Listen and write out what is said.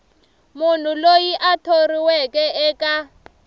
munhu loyi a thoriweke eka